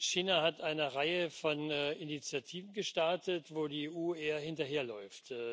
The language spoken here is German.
China hat eine Reihe von Initiativen gestartet, wo die EU eher hinterherläuft.